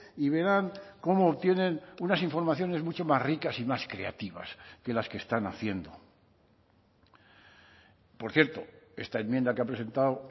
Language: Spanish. y verán cómo tienen unas informaciones mucho más ricas y más creativas que las que están haciendo por cierto esta enmienda que ha presentado